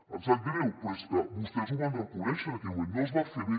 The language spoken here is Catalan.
em sap greu però és que vostès ho van reconèixer en aquell moment no es va fer bé